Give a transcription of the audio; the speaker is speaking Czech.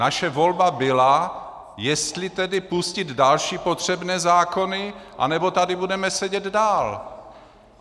Naše volba byla, jestli tedy pustit další potřebné zákony, nebo tady budeme sedět dál.